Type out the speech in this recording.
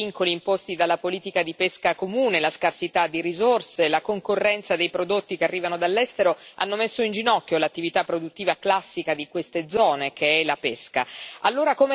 L'aumentare dei vincoli imposti dalla politica comune della pesca, la scarsità di risorse, la concorrenza dei prodotti che arrivano dall'estero hanno messo in ginocchio l'attività produttiva classica di queste zone, che è la pesca.